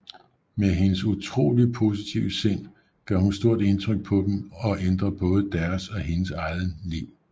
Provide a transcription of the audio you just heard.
Med hendes utrolig positive sind gør hun stor indtryk på dem og ændre både deres og hendes egen liv